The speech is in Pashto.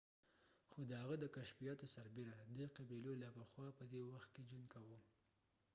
خو د هغه د کشفیاتو سربیره د eskimo قبیلو لا پخوا پدې وخت کې ژوند کوه